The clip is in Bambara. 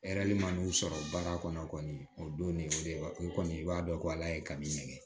man'u sɔrɔ baara kɔnɔ o don ne y'o de wa o kɔni i b'a dɔn ko ala ye ka min kɛ